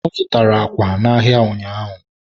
ọ zụtara àkwà n'ahịa ụnyaahụ.